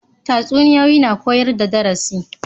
Tatsuniya na koyar da darasi